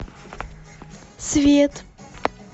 свет